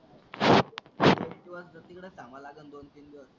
एक दिवस तिकडचं थांबायला लागलं दोन तीन दिवस.